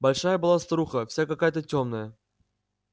большая была старуха вся какая-то тёмная